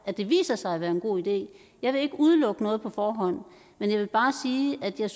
at det viser sig at være en god idé jeg vil ikke udelukke noget på forhånd men jeg vil bare sige at jeg